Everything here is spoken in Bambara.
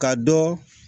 Ka dɔ